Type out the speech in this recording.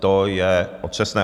To je otřesné.